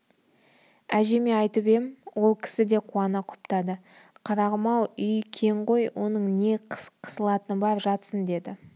әжеме айтып ем ол кісі де қуана құптады қарағым-ау үй кең ғой оның не қысылатыны бар жатсын деді